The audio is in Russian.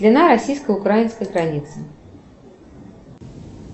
длина российско украинской границы